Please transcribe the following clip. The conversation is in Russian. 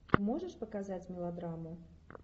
можешь показать мелодраму